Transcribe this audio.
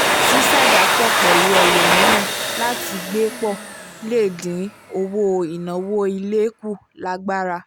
sísàjàpọ̀ pẹ̀lú ẹlòmíràn láti gbé pọ̀ le dín owó ináwó ilé kù lágbára